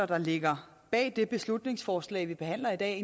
der ligger bag det beslutningsforslag vi behandler i dag